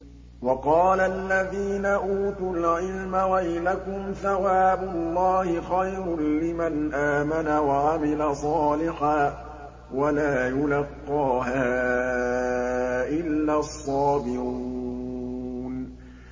وَقَالَ الَّذِينَ أُوتُوا الْعِلْمَ وَيْلَكُمْ ثَوَابُ اللَّهِ خَيْرٌ لِّمَنْ آمَنَ وَعَمِلَ صَالِحًا وَلَا يُلَقَّاهَا إِلَّا الصَّابِرُونَ